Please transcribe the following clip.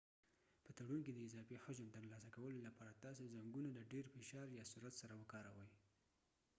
په تړون کې د اضافي حجم ترلاسه کولو لپاره تاسي زنګونه د ډیر فشار یا سرعت سره کاروئ